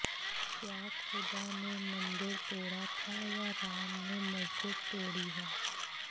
क्या खुदा ने मंदिर तोडा था या राम ने मस्जिद तोड़ी है